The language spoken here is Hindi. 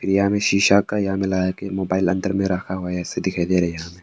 यहां में शीशा का यहां में लगाके मोबाइल अंदर में रखा हुआ ऐसे दिखाई दे रहा यहां में।